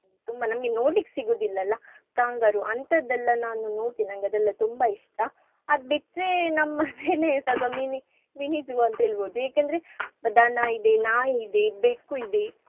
ತುಂಬಾ ನಮ್ಗೆ ನೋಡ್ಲಿಕ್ಕ್ ಸಿಗುದಿಲ್ಲಲ್ಲಾ kangaroo ಅಂತದೆಲ್ಲ ನಾನು ನೋಡ್ತಿನ್ ನಂಗದೆಲ್ಲಾ ತುಂಬಾ ಇಷ್ಟ. ಅದ್ ಬಿಟ್ರೆ ನಮ್ಮ್ ಮನೆಲಿ ಸ್ವಲ್ಪ mini mini zoo ಅಂತ್ ಹೇಳ್ಬಹುದು. ಯಾಕಂದ್ರೆ ದನ ಇದೆ, ನಾಯಿ ಇದೆ, ಬೆಕ್ಕು ಇದೆ.